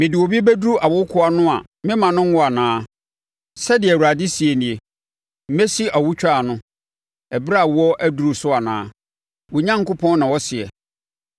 Mede obi bɛduru awokoɔ ano a memma no nwo anaa?” Sɛdeɛ Awurade seɛ nie. “Mesi awotwaa ano ɛberɛ a awoɔ aduru so anaa?” Wo Onyankopɔn na ɔseɛ.